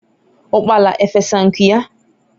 ukpala efesa nku ya?